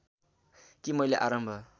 कि मैले आरम्भ